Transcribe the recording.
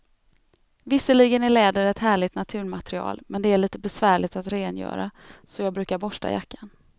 Visserligen är läder ett härligt naturmaterial, men det är lite besvärligt att rengöra, så jag brukar borsta jackan.